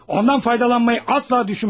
Ondan faydalanmayı asla düşünmədim.